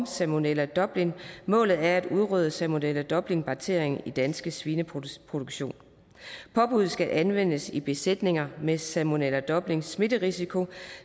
salmonella dublin målet er at udrydde salmonella dublin bakterien i dansk svineproduktion påbuddet skal anvendes i besætninger med salmonella dublin smitterisiko